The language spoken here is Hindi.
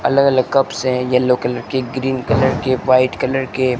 अलग अलग कप्स है येल्लो कलर के ग्रीन कलर के व्हाइट कलर के--